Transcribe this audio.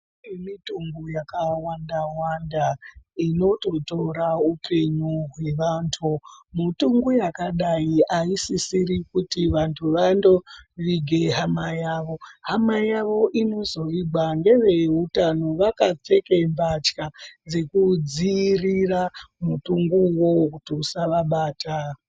Kune mitungu yakawanda -wanda, inototora upenyu hwevantu. Mitungu yakadai aisisiri kuti vanthu vandovige hama yavo. Hama yavo inozovigwa neveutano vakapfeke mbatya dzekudziirira mutungu uwowo kuti usavabata.